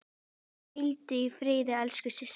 Hvíldu í friði elsku systir.